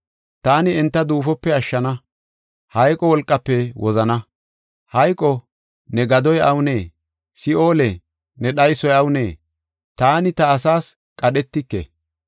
Taani enta duufope ashshana; hayqo wolqaafe wozana. Hayqo, ne gadoy awunee? Si7oole, ne dhaysoy awunee? Taani ta asaas qadhetike.